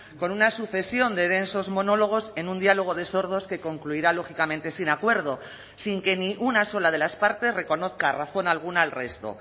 con una sucesión de densos monólogos en un diálogo de sordos que concluirá lógicamente sin acuerdo sin que ni una sola de las partes reconozca razón alguna al resto